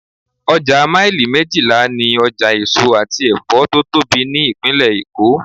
Ọjà maili méjìlá ni ọjà tó èso àti Ẹ̀fọ́ tó tóbi ní Ìpínlẹ̀ èkó.